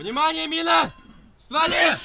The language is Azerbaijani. Diqqət, mina lülədə!